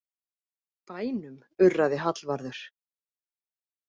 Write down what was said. Bænum, urraði Hallvarður.